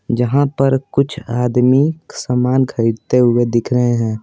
जहां पर कुछ आदमी सामान खरीदते हुए दिख रहे हैं।